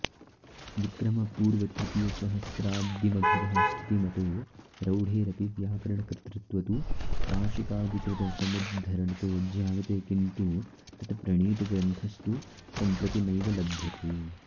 विक्रमपूर्वतृतीयसहस्राब्दीमभितः स्थितिमतो रौढेरपि व्याकरणकर्तृत्व तु काशिकादिकृतसमुद्धरणतो ज्ञायते किन्तु तत्प्रणीतग्रन्थस्तु सम्प्रति नैव लभ्यते